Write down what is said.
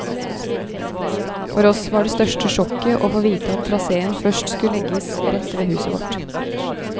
For oss var det største sjokket å få vite at traséen først skulle legges rett ved huset vårt.